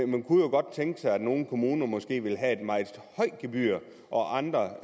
man kunne jo godt tænke sig at nogle kommuner måske ville have et meget højt gebyr og at andre